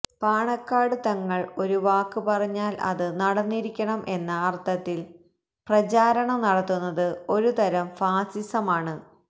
പാണക്കാട് തങ്ങള് ഒരു വാക്ക് പറഞ്ഞാല് അത് നടന്നിരിക്കണം എന്ന അര്ത്ഥത്തില് പ്രചാരണം നടത്തുന്നത് ഒരുതരം ഫാസിസമാണ്